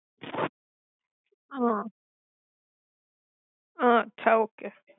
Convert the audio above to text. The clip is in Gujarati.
હ હ અછા ઓકે.